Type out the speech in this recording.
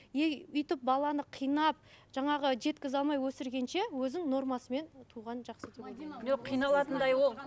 өйтіп баланы қинап жаңағы жеткізе алмай өсіргенше өзің нормасымен туған жақсы деп ойлаймын жоқ қиналатындай ол